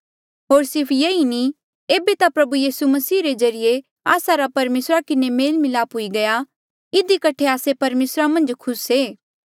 होर सिर्फ येई नी ऐबे ता प्रभु यीसू मसीह रे ज्रीए आस्सा रा परमेसरा किन्हें मेल मिलाप हुई गया इधी कठे आस्से परमेसरा मन्झ खुस ऐें